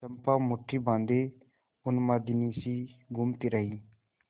चंपा मुठ्ठी बाँधे उन्मादिनीसी घूमती रही